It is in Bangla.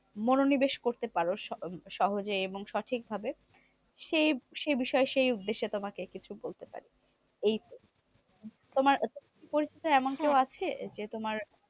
সে সে বিষয় সেই উদ্দেশ্যে তোমাকে কিছু বলতে পারি এই। তোমার পরিচয়ে এমন কেউ আছে? যে তোমার